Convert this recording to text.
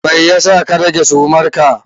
Me yasa ka rage sumarka?